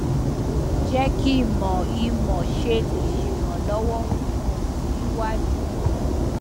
je ki mo i mo se le seranlowo fun o si waju